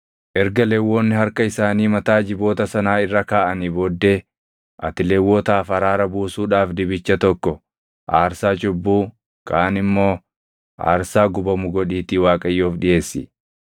“Erga Lewwonni harka isaanii mataa jiboota sanaa irra kaaʼanii booddee ati Lewwotaaf araaraa buusuudhaaf dibicha tokko aarsaa cubbuu, kaan immoo aarsaa gubamu godhiitii Waaqayyoof dhiʼeessi.